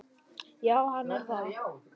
Já, hann er það.